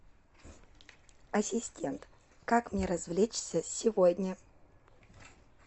ассистент как мне развлечься сегодня